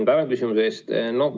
Tänan küsimuse eest!